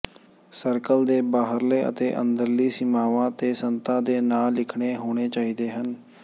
circle ਦੇ ਬਾਹਰਲੇ ਅਤੇ ਅੰਦਰਲੀ ਸੀਮਾਵਾਂ ਤੇ ਸੰਤਾਂ ਦੇ ਨਾਂ ਲਿਖਣੇ ਹੋਣੇ ਚਾਹੀਦੇ ਹਨ